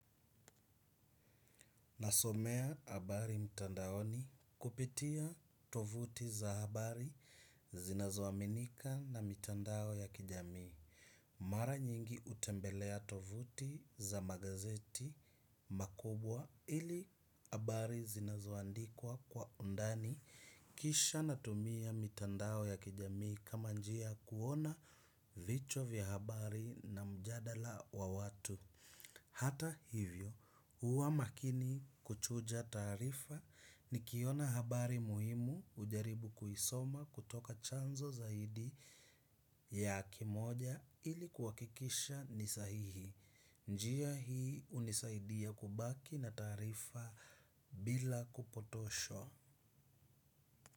Nasomea habari mtandaoni kupitia tovuti za habari zinazoaminika na mitandao ya kijamii. Mara nyingi hutembelea tovuti za magazeti makubwa ili habari zinazoandikwa kwa undani kisha natumia mitandao ya kijamii kama njia ya kuona vichwa vya habari na mjadala wa watu. Hata hivyo, huwa makini kuchuja taarifa nikiona habari muhimu hujaribu kuisoma kutoka chanzo zaidi ya kimoja ili kuhakikisha ni sahihi. Njia hii hunisaidia kubaki na taarifa bila kupotoshwa.